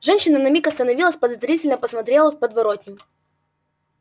женщина на миг остановилась подозрительно посмотрела в подворотню